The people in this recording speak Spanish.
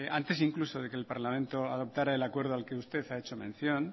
antes incluso de que parlamento adoptara el acuerdo al que usted ha hecho mención